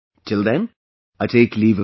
Till then, I take leave of you